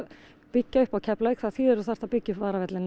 byggja upp í Keflavík þýðir að þú þarft að byggja upp